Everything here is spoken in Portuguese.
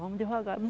Vamos devagar, né?